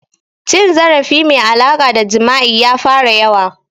Cin zarafi mai alaƙa da jima'i ya fara yawa